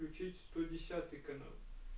включить сто десятый канал